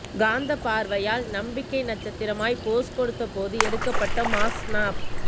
காந்த பார்வையால் நம்பிக்கை நட்சத்திரமாய் போஸ் கொடுத்த போது எடுக்கப்பட்ட மாஸ் ஸ்னாப்